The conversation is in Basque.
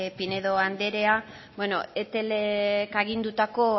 pinedo anderea agindutako